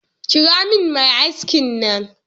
Kira min mai aski nan.